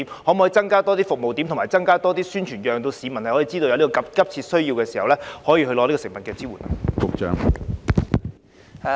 當局可否增加服務點和宣傳，讓市民知道在有急切需要時，可以獲得食物方面的支援？